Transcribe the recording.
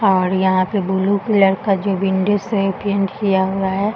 और यहाँ पे ब्लू कलर का जो विंडो से पेंट किया हुआ है।